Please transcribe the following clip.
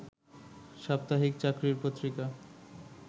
সাপ্তাহিক চাকরির পত্রিকা